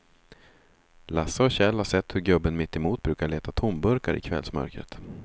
Lasse och Kjell har sett hur gubben mittemot brukar leta tomburkar i kvällsmörkret.